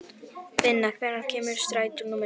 Finna, hvenær kemur strætó númer níu?